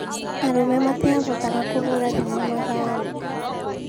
Arũme matĩabotaga kũbũra thimũ mathaainĩ